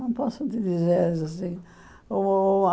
Não posso te dizer assim o.